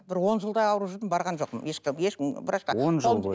бір он жылдай ауырып жүрдім барған жоқпын врачқа он жыл бойы